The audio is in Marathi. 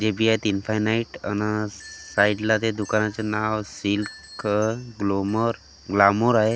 डेबिया तीन फॅ नाईट अन् साइड ला ते दुकानाचे नाव सिल्क ग्लोमर ग्लामर आहे.